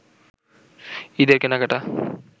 ঈদের কেনাকাটা